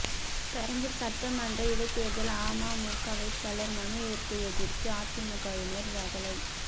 பெரம்பூர் சட்டமன்ற இடைத்தேர்தல் அமமுக வேட்பாளர் மனு ஏற்பை எதிர்த்து அதிமுகவினர் ரகளை